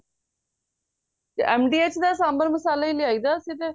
ਤੇ MDH ਦਾ ਸਾਂਬਰ ਮਸਾਲਾ ਹੀ ਲਿਆਈ ਦਾ ਅਸੀਂ ਤੇ